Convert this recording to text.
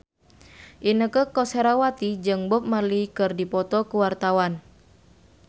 Inneke Koesherawati jeung Bob Marley keur dipoto ku wartawan